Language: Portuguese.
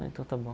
Então está bom.